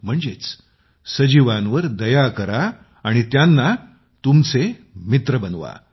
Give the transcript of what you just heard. म्हणजेच सजीवांवर दया करा आणि त्यांना तुमचे मित्र बनवा